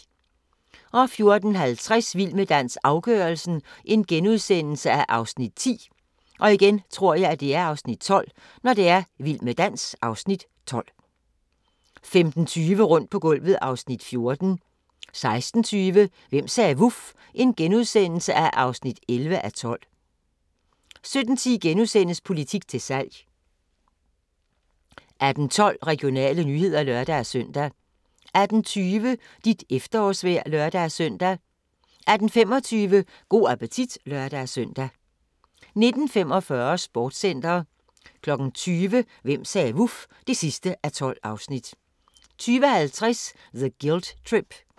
14:50: Vild med dans – afgørelsen (Afs. 10)* 15:20: Rundt på gulvet (Afs. 14) 16:20: Hvem sagde vuf? (11:12)* 17:10: Politik til salg * 18:12: Regionale nyheder (lør-søn) 18:20: Dit efterårsvejr (lør-søn) 18:25: Go' appetit (lør-søn) 19:45: Sportscenter 20:00: Hvem sagde vuf? (12:12) 20:50: The Guilt Trip